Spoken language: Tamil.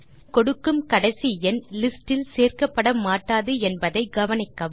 நீங்கள் கொடுக்கும் கடைசி எண் லிஸ்ட் இல் சேர்க்கப்பட மாட்டாது என்பதை கவனிக்கவும்